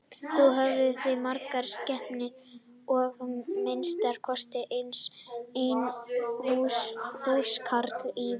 Þá höfðu þau margar skepnur og að minnsta kosti einn húskarl í vinnu.